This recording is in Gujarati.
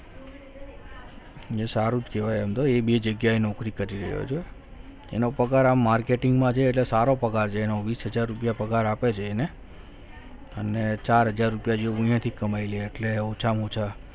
મેં સારું જ કહેવાય એમ તો એ બે જગ્યાએ નોકરી કરી રહ્યો છું એનો પગાર આમ marketing માં છે એટલે સારો પગાર છે એનો વીસ હજાર રૂપિયા પગાર આપે છે એને અને ચાર હજાર રૂપિયા જેવું અહીયાથી કમાઈ લે એટલે ઓછામાં ઓછા